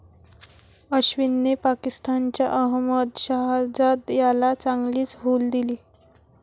अश्विनने पाकिस्तानच्या अहमद शहजाद याला चांगलीच हूल दिली.